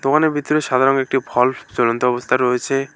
দোকানের ভিতরে সাদা রঙের একটি ভাল্ব ঝুলন্ত অবস্থায় রয়েছে।